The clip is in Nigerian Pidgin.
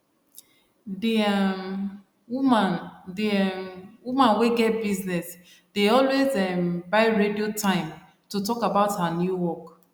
d um woman d um woman wey get business dey always um buy radio time to talk about her new work